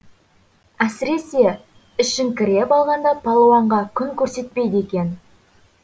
әсіресе ішіңкіреп алғанда палуанға күн көрсетпейді екен